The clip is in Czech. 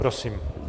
Prosím.